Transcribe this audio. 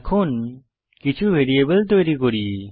এখন কিছু ভ্যারিয়েবল তৈরী করি